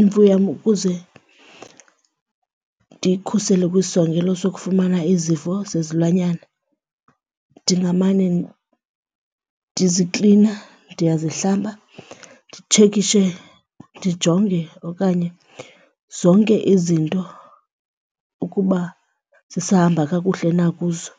imfuyo yam ukuze ndiyikhusele kwisisongelo sokufumana izifo zezilwanyana ndingamane ndiziklina, ndiyazihlamba, nditshekishe ndijonge okanye zonke izinto ukuba zisahamba kakuhle na kuzo.